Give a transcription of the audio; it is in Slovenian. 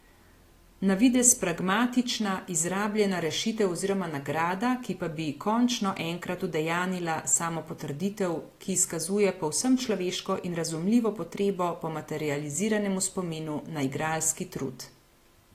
Na videz pragmatična, izrabljena rešitev oziroma nagrada, ki pa bi končno enkrat udejanila samopotrditev, ki izkazuje povsem človeško in razumljivo potrebo po materializiranemu spominu na igralski trud.